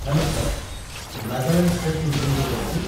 Hello, sir ! Nagaland state ଟୁରିଜିମ୍‌ରୁ କହୁଛି ।